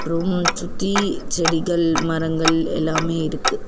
Room சுத்தி செடிகள் மரங்கள் எல்லாமே இருக்கு.